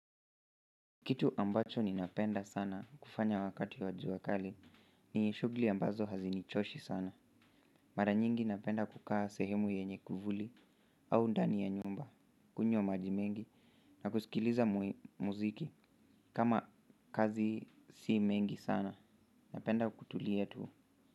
Kitu ambacho ninapenda sana kufanya wakati wa jua kali ni shuguli ambazo hazinichoshi sana mara nyingi napenda kukaa sehemu yenye kivuli au ndani ya nyumba kunywa maji mengi na kusikiliza muziki kama kazi si mengi sana napenda kutulia tu.